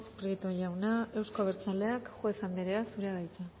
prieto jauna euzko abertzaleak juez anderea zurea da hitza